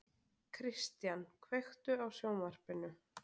Kristian, kveiktu á sjónvarpinu.